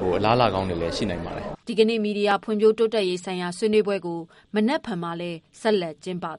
တော့ အလားအလာကောင်းတွေရှိနိုင်ပါတယ်။" ဒီကနေ့ ဖွံ့ဖြိုးတိုးတက်ရေးဆိုင်ရာဆွေးနွေးပွဲကို မနက်ဖြန်လည်း ဆက်လက် ကျင်းပသွား